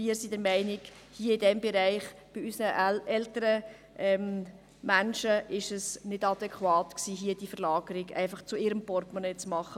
Wir sind der Meinung, in diesem Bereich, bei unseren älteren Menschen, sei es nicht adäquat gewesen, eine Verlagerung zulasten ihres Portemonnaies zu beschliessen.